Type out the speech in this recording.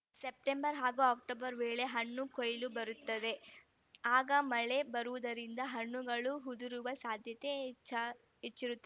September ಹಾಗೂ October ವೇಳೆಗೆ ಹಣ್ಣು ಕೊಯ್ಲಿಗೆ ಬರುತ್ತವೆ ಆಗ ಮಳೆ ಬರುವುದರಿಂದ ಹಣ್ಣುಗಳು ಉದುರುವ ಸಾಧ್ಯತೆ ಹೆಚ್ಚ್ ಹೆಚ್ಚಿರುತ್ತದೆ